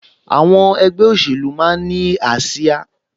Àwọn ẹgbẹ́ òṣèlú máa ń ní ásíá